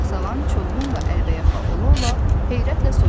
Sağsağan çovğunla əlbəyaxa ola-ola heyrətlə soruşdu.